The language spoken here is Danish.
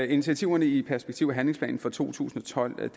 initiativerne i perspektiv og handlingsplanen for to tusind og tolv